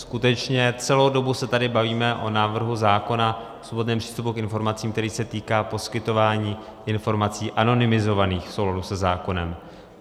Skutečně celou dobu se tady bavíme o návrhu zákona o svobodném přístupu k informacím, který se týká poskytování informací anonymizovaných v souladu se zákonem.